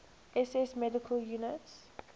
ss medical units